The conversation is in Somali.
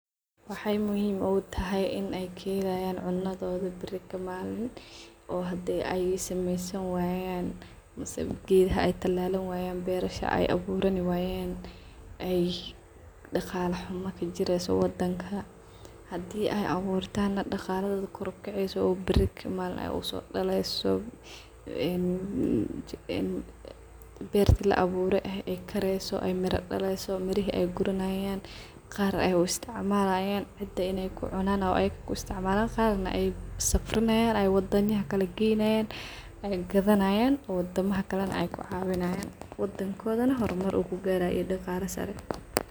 Waxay muhim ugutahay inay kedhayan cunadhodhi ay biri kamanin oo haday ay sameysin wayan mise geedha ay talalan wayan beresha ay abuurani wayan ay dagala xuma kajireyso wadanka haday ay aburtan na dagaladhodhi koor ugaceyso oo baari kamanin ay usodaleyso een beerti laa abuure eeh ay kareyso meri daleyso mirihi ayguranayan gaar ay usticmalayan cida inay kucunan ama ayaka ku isticamalan qaar na ay safarinayan ay wadamaha ay geyanayana ay gadhanayan oo wadamaha kale ay ku cawinayan wadonkodhini hoormar kugaraya iyo dagaala saara.